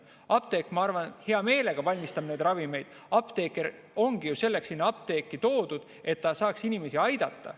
Apteek, ma arvan, hea meelega valmistab neid ravimeid, apteeker ongi ju selleks seal apteegis, et ta saaks inimesi aidata.